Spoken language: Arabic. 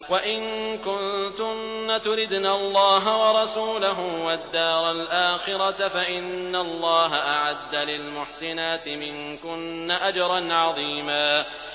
وَإِن كُنتُنَّ تُرِدْنَ اللَّهَ وَرَسُولَهُ وَالدَّارَ الْآخِرَةَ فَإِنَّ اللَّهَ أَعَدَّ لِلْمُحْسِنَاتِ مِنكُنَّ أَجْرًا عَظِيمًا